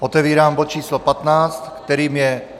Otevírám bod číslo 15, kterým je